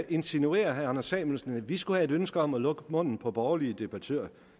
insinuerer herre anders samuelsen at vi skulle have et ønske om at lukke munden på borgerlige debattører